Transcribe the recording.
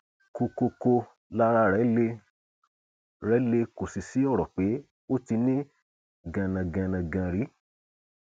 kọkọọkọ lára rẹ le rẹ le kò sì sí ọrọ pé ó ti ní ganangànángàn rí